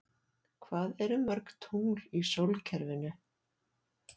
Hvað eru mörg tungl í sólkerfinu?